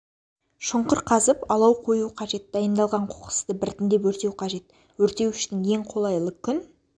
шұңқыр қазып алау қою қажет дайындалған қоқысты біртіндеп өртеу қажет өртеу үшін ең қолайлы күн